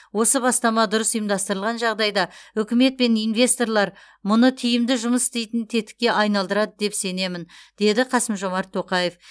осы бастама дұрыс ұйымдастырылған жағдайда үкімет пен инвесторлар мұны тиімді жұмыс істейтін тетікке айналдырады деп сенемін деді қасым жомарт тоқаев